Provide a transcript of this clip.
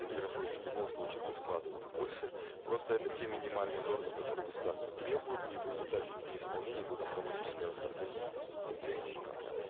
недропользователь в любом случае будет вкладывать больше просто это те минимальные нормы которые государство требует и в результате их неисполнения будет автоматическое расторжение лицензии или контракта